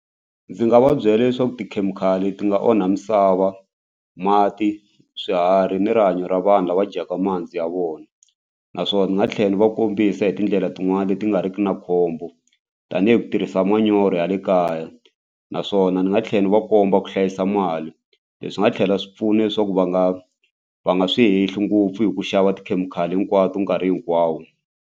Ndzi nga va byela leswaku tikhemikhali ti nga onha misava mati swiharhi ni rihanyo ra vanhu lava dyaka mihandzu ya vona naswona ndzi nga tlhela ni va kombisa hi tindlela tin'wani leti nga riki na khombo tanihi ku tirhisa manyoro ya le kaya naswona ni nga tlhela ni va komba ku hlayisa mali leswi swi nga tlhela swi pfuna leswaku va nga va nga swi hehli ngopfu hi ku xava tikhemikhali hinkwato nkarhi hinkwawo.